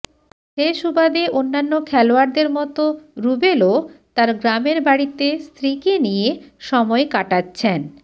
সে সুবাদে অন্যান্য খেলোয়াড়দের মতো রুবেলও তার গ্রামের বাড়িতে স্ত্রীকে নিয়ে সময় কাটাচ্ছেন